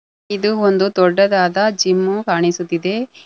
ಇದು ಒಂದು ದೊಡ್ಡದಾದ ಜಿಮ್ಮು ಕಾಣಿಸುತ್ತಿದೆ.